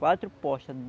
Quatro postas.